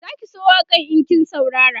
Zaki so waƙan in kin saurara